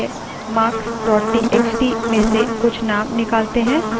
चलिए marks txt में से कुछ names निकालते हैं